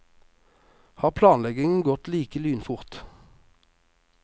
Har planleggingen gått like lynfort?